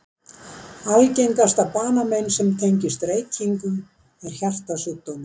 Algengasta banamein sem tengist reykingum er hjartasjúkdómar.